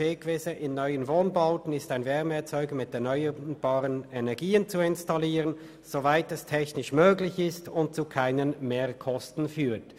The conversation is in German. «In neuen Wohnbauten ist ein Wärmeerzeuger mit erneuerbaren Energien zu installieren, soweit dies technisch möglich ist und zu keinen Mehrkosten führt.